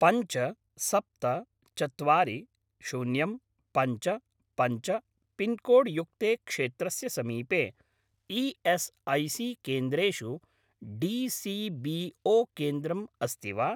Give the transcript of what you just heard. पञ्च सप्त चत्वारि शून्यं पञ्च पञ्च पिन्कोड् युक्ते क्षेत्रस्य समीपे ई.एस्.ऐ.सी.केन्द्रेषु डी.सी.बी.ओ. केन्द्रम् अस्ति वा?